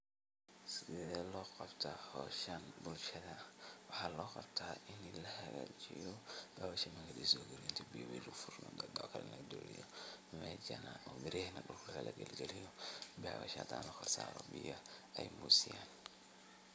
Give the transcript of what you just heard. Sidee loqabta howshan bulshadan, waxa loqabta inni lahagajiyo mesha intii biyo lugusofuro kaag oo kale lagadigo oo biraha dhulka lagaliyo bewasha lasaro si biyo nogusiyo.